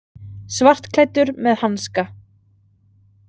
Svartklæddur með hanska.